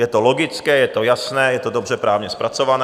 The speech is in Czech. Je to logické, je to jasné, je to dobře právně zpracované.